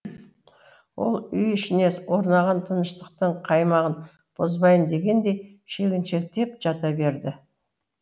ол үй ішіне орнаған тыныштықтың қаймағын бұзбайын дегендей шегіншектеп жата берді